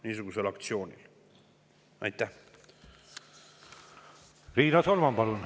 Riina Solman, palun!